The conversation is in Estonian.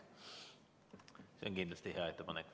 See on kindlasti hea ettepanek.